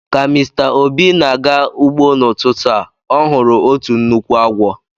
Ka Mr obi na-aga ugbo n'ututu a, o huru otu nnukwu agwo